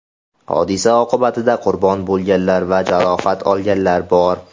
Hodisa oqibatida qurbon bo‘lganlar va jarohat olganlar bor.